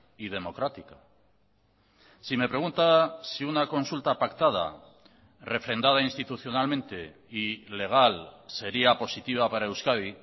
y democrática si me pregunta si una consulta pactada refrendada institucionalmente y legal sería positiva para euskadi